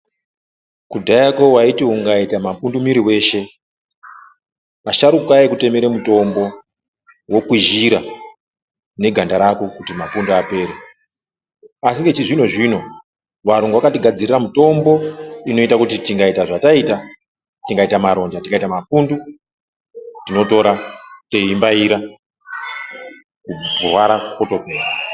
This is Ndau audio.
Kudhayako waiti ukaite mapundu mwiri wako weshe asharuka aikutemere wokwizhira neganda rako kuti mapundu apere ,asi nechizvinozvino wayungu wakatigadzirire mitombo inoita kuti tikaita zvataita tikaita maronda tikaita mapundu tinotora teibaira kurwara kwotopora.